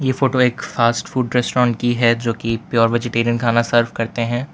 Photo एक खास food restaurant की है जो कि प्योर वेजीटेरियन खाना सर्व करते हैं।